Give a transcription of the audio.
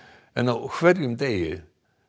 en á hverjum degi